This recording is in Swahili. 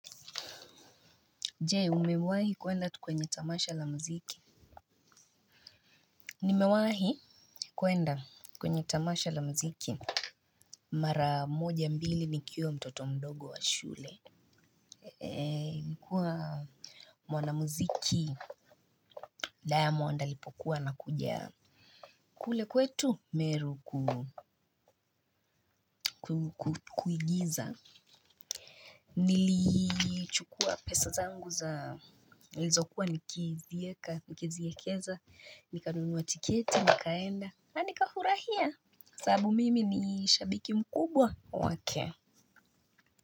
Jee, umewahi kuenda tu kwenye tamasha la muziki? Nimewahi kuenda kwenye tamasha la muziki. Mara moja mbili nikiwa mtoto mdogo wa shule. Nikuwa mwana muziki, dayamond lipokuwa na kuja kule kwetu, meru kuigiza. Nilichukua pesa zangu za, nilizo kuwa nikiziekeza, nikanunuwa tiketi, nikaenda. Anika furahia sabu mimi ni shabikim kubwa wake.